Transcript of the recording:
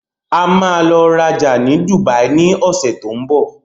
A máa lọ rajà ní Dùbàí ní ọsẹ̀ tó ń bọ̀.